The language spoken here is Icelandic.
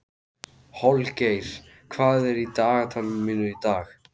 Holgeir, hvað er í dagatalinu mínu í dag?